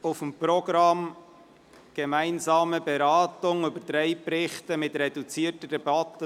Auf dem Programm steht: «Gemeinsame Beratung» von drei Berichten in reduzierter Debatte.